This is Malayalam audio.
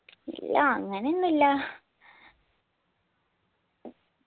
ഇല്ലാ അങ്ങനെ ഒന്നു ഇല്ലാ